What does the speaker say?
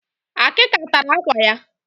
Termites destroyed her pictures